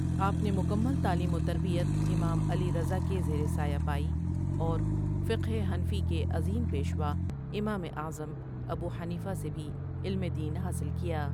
آپ نے مکمل تعلیم وتربیت امام علی رضا کے زیرِ سایہ پائی اور فقہ حنفی کے عظیم پیشوا امام اعظم ابوحنیفہ سے بھی علمِ دین حاصل کیا۔